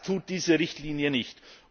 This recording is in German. Das tut diese Richtlinie nicht.